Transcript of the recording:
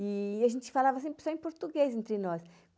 E a gente falava sempre só em português entre nós.